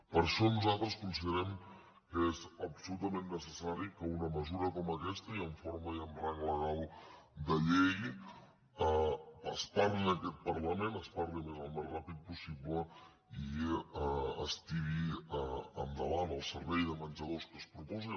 per això nosaltres considerem que és absolutament necessari que una mesura com aquesta i amb forma i amb rang legal de llei es parli en aquest parlament es parli a més al més ràpidament possible i es tiri endavant el servei de menjador que es proposa